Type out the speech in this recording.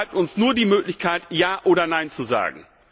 So bleibt uns nur die Möglichkeit, Ja oder Nein zu sagen.